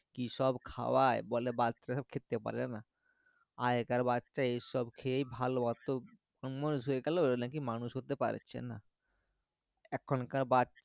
কিসব খোওযায় বলে বাচ্চা রা সব খেতে পারে না আগেকার বাচ্চা এইসব খেয়েই ভালো আছে অমানুষ হয়ে গেলো ওরা নাকি মানুষ হর্তে পাড়ছে না এখনকার বাচ্চা